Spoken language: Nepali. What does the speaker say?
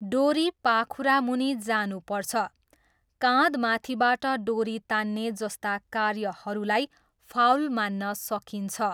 डोरी पाखुरामुनि जानुपर्छ, काँधमाथिबाट डोरी तान्ने जस्ता कार्यहरूलाई फाउल मान्न सकिन्छ।